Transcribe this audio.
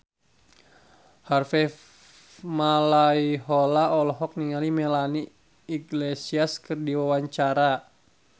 Harvey Malaiholo olohok ningali Melanie Iglesias keur diwawancara